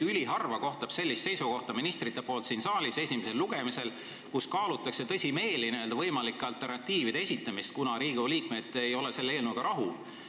Üliharva kohtab siin saalis esimesel lugemisel ministrite poolt sellist seisukohta, et kaalutakse tõsimeeli võimalike alternatiivide esitamist, kuna Riigikogu liikmed ei ole eelnõuga rahul olnud.